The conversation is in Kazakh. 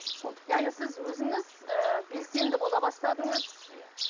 яғни сіз өзіңіз ііі белсенді бола бастадыңыз